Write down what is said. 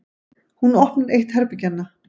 Hún opnar eitt herbergjanna.